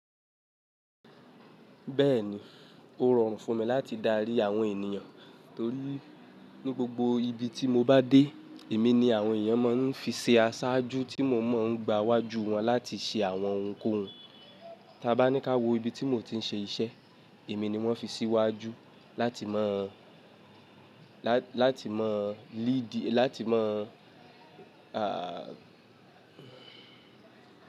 Bẹ́ẹ̀ni, ó rọrùn fún mi láti darí àwọn ènìyàn torí ní gbogbo ibi tí mo bá dé, èmi ni àwọn èèyàn máa ń fi ṣe aṣáájú tí mo mọ̀ ń gba wájú wọn láti ṣe àwọn òhùn kò hún Ta bá ní ká wo ibi tí mo ti ń ṣe iṣẹ́, èmi ni wọ́n fi síwájú láti mọ̀, láti mọ leadi, láti mọ̀,